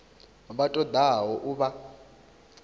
vha ṱo ḓaho u vha